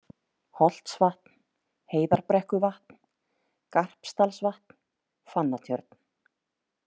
Holtsvatn, Heiðarbrekkuvatn, Garpsdalsvatn, Fannatjörn